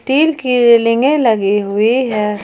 तीर की रेलिंगे लगी हुई है।